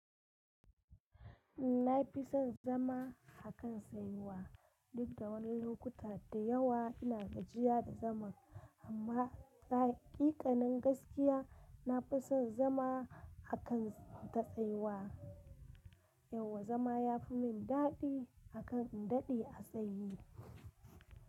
Ina fi son zama a kan tsayuwa. Duk da wani lokuta da yawa ina gajiya da zaman, amma hakikanin gaskiya, na fi son zama a kan ta tsayuwa. Yauwa zama ya fi min daɗi akan in daɗe a tsaye.